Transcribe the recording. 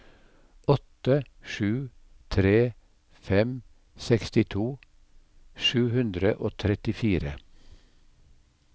åtte sju tre fem sekstito sju hundre og trettifire